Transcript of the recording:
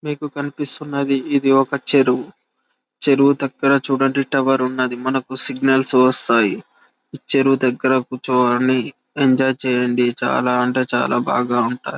మీకు కనిపిస్తున్నది ఇది ఒక చెరువు చెరువు దగ్గర మనకి టావెర్ ఉన్నది మనకి సిగ్నల్ వస్తాయి చెరువు దగ్గర చూడదనుండి చాలా ఎంజాయ్ చెయ్యండి చాలా చాలా బాగా ఉంటాయి--